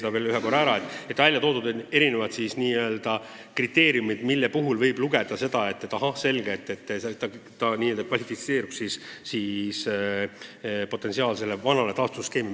Ma räägin veel kord, et seal on välja toodud erinevad kriteeriumid, mille puhul võib otsustada, et ahah, selge, ta kvalifitseerub vastavalt vanale toetusskeemile.